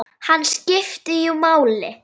Hann einn skipti jú máli.